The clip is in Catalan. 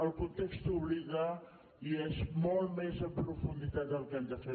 el context obliga i és molt més en profunditat el que hem de fer